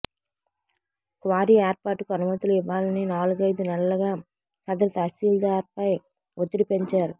quarry ఏర్పాటుకు అనుమతులు ఇవ్వాలని నాలుగైదు నెలలుగా సదరు తహసీల్దార్పై ఒత్తిడి పెంచారు